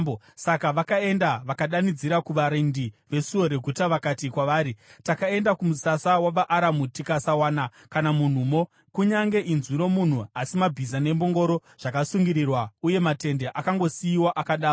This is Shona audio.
Saka vakaenda vakadanidzira kuvarindi vesuo reguta vakati kwavari, “Takaenda kumusasa wavaAramu tikasawana kana munhumo, kunyange inzwi romunhu, asi mabhiza nembongoro zvakasungirirwa uye matende akangosiyiwa akadaro.”